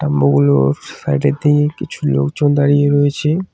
ওগুলোর সাইড -এর দিকে কিছু লোকজন দাঁড়িয়ে রয়েছে।